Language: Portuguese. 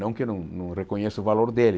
Não que eu não não reconheça o valor dele.